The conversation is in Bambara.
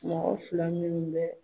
Mɔgɔ fila minnu bɛ